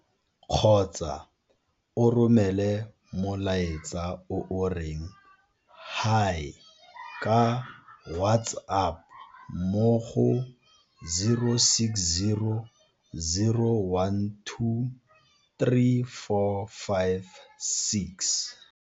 Kgotsa o romele molaetsa o o reng Hi ka WhatsApp mo go 0600 12 3456.